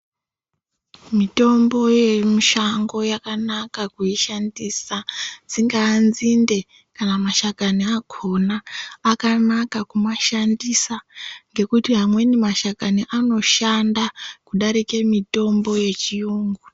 Mitombo yemushango yakanaka kuishandisa dzingava nzinde kana mashakani akona akanaka kumashandisa nekuti amwe mashakani anoshanda kudarika mitombo yechirungu.